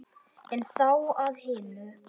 En þá að hinu.